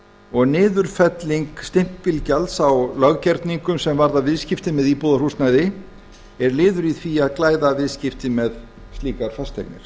og niðurfelling stimpilgjalds á löggerningum sem varða viðskipti með íbúðarhúsnæði er liður í því að glæða viðskipti með slíkar fasteignir